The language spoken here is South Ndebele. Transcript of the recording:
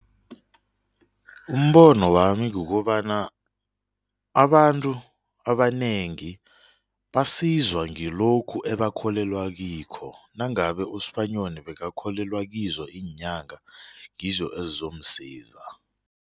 Umbono wami kukobana abantu abanengi basizwa ngilokhu ebakholelwa kikho nangabe uSibanyoni bekakholelwa kizo iinyanga ngizo ezizomsiza.